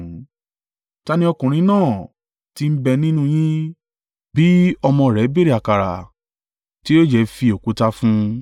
“Ta ni ọkùnrin náà tí ń bẹ nínú yín, bí ọmọ rẹ̀ béèrè àkàrà, tí yóò jẹ́ fi òkúta fún un?